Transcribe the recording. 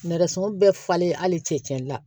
Nɛgɛso bɛɛ falen hali cɛcɛn na